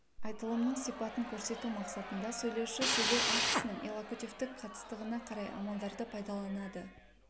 айтылымның сипатын көрсету мақсатында сөйлеуші сөйлеу актісінің иллокутивтік қатыстығына қарай амалдарды пайдаланады